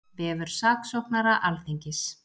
Vefur saksóknara Alþingis